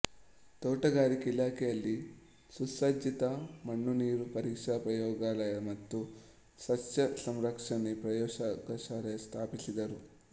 ತೋಟಗಾರಿಕೆ ಇಲಾಖೆಯಲ್ಲಿ ಸುಸಜ್ಜಿತ ಮಣ್ಣುನೀರು ಪರೀಕ್ಷಾ ಪ್ರಯೋಗಾಲಯ ಮತ್ತು ಸಸ್ಯ ಸಂರಕ್ಷಣೆ ಪ್ರಯೋಗಶಾಲೆಗಳನ್ನು ಸ್ಥಾಪಿಸಿದರು